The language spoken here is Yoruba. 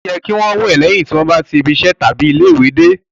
Ó yẹ kí o wẹ lẹ́yìn tí ó bá tí ibi iṣẹ tàbí ilé-ìwé dé